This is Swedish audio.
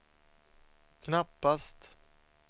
knappast